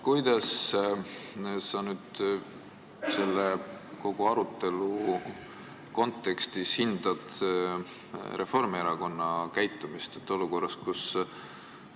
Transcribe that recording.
Kuidas sa kogu selle arutelu kontekstis hindad Reformierakonna käitumist?